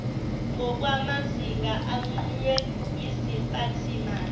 ngokwamazinga anqunywe yiziphathimandla